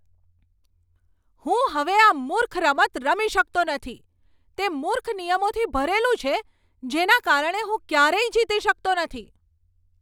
હું હવે આ મૂર્ખ રમત રમી શકતો નથી. તે મૂર્ખ નિયમોથી ભરેલું છે જેના કારણે હું ક્યારેય જીતી શકતો નથી.